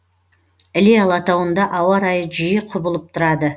іле алатауында ауа райы жиі құбылып тұрады